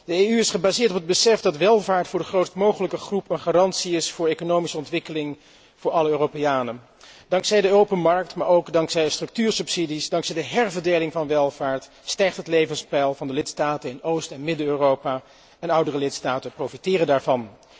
De EU is gebaseerd op het besef dat welvaart voor de grootst mogelijke groep een garantie is voor economische ontwikkeling voor alle Europeanen. Dankzij de open markt, maar ook dankzij structuursubsidies, dankzij de herverdeling van welvaart stijgt het levenspeil van de lidstaten in Oost en Midden Europa, en oudere lidstaten profiteren daarvan.